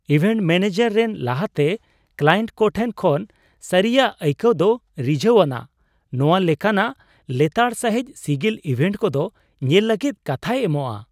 Event manager ᱨᱮᱱ ᱞᱟᱦᱟᱛᱮ client ᱠᱚ ᱴᱷᱮᱱ ᱠᱷᱚᱱ ᱥᱟᱹᱨᱤᱭᱟᱜ ᱟᱹᱭᱠᱟᱹᱣ ᱫᱚ ᱨᱤᱡᱷᱟᱹᱣᱟᱱᱟᱜ ᱾ ᱱᱚᱶᱟ ᱞᱮᱠᱟᱱᱟᱜ ᱞᱮᱛᱟᱲ ᱥᱟᱹᱦᱤᱡ ᱥᱤᱜᱤᱞ ᱤᱵᱷᱮᱱᱴ ᱠᱚᱫᱚ ᱧᱮᱞ ᱞᱟᱹᱜᱤᱫ ᱠᱟᱛᱷᱟᱭ ᱮᱢᱚᱜᱼᱟ ᱾